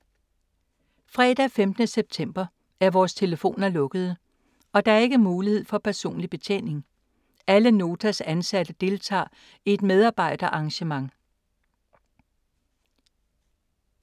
Fredag den 15. september er vores telefoner lukkede og der er ikke mulighed for personlig betjening. Alle Notas ansatte deltager i et medarbejderarrangement.